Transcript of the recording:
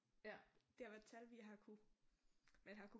Det har været tal vi har kunnet man har kunnet